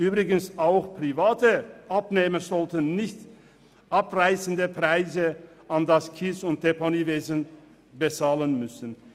Übrigens sollten auch private Abnehmer keine überrissenen Preise für Leistungen des Abbau- und Deponiewesens bezahlen müssen.